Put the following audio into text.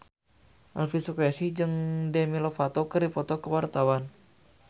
Elvy Sukaesih jeung Demi Lovato keur dipoto ku wartawan